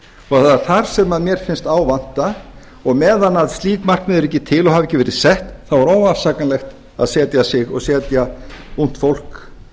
er þar sem mér finnst á vanta og meðan að slík markmið eru ekki til og hafa ekki verið sett þá er óafsakanlegt að setja sig og setja ungt fólk